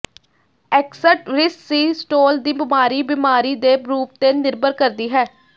ਐਕਸਟਰਿਸਸੀਸਟੋਲ ਦੀ ਬਿਮਾਰੀ ਬੀਮਾਰੀ ਦੇ ਰੂਪ ਤੇ ਨਿਰਭਰ ਕਰਦੀ ਹੈ